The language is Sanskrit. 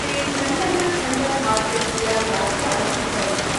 ते खण्डनखण्डखाद्यस्य व्याख्यानं कृतवन्तः ।